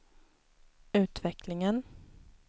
utvecklingen